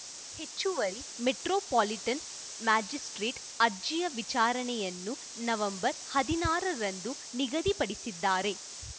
ಹೆಚ್ಚುವರಿ metropolitan magistrate ಅರ್ಜಿಯ ವಿಚಾರಣೆಯನ್ನು ನವಂಬರ್ ಹದಿನಾರ ರಂದು ನಿಗದಿಪಡಿಸಿದ್ದಾರೆ